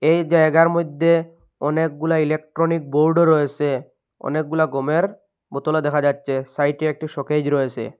এ জায়গার মইদ্যে অনেকগুলা ইলেকট্রনিক বোর্ড ও রয়েসে অনেকগুলা গমের বোতল ও দেখা যাচ্চে সাইটে একটি সকেজ রয়েসে।